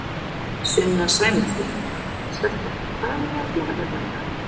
Sunna Sæmundsdóttir: Stelpur, hvað eruð þið að gera hérna í dag?